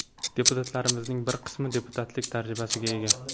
Deputatlarimizning bir qismi deputatlik tajribasiga ega.